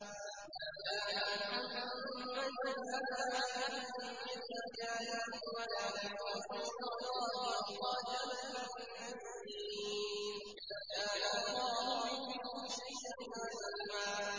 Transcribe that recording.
مَّا كَانَ مُحَمَّدٌ أَبَا أَحَدٍ مِّن رِّجَالِكُمْ وَلَٰكِن رَّسُولَ اللَّهِ وَخَاتَمَ النَّبِيِّينَ ۗ وَكَانَ اللَّهُ بِكُلِّ شَيْءٍ عَلِيمًا